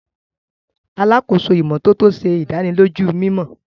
Alàkóso ìmọ́tótó ṣe ìdánilójú mimọ.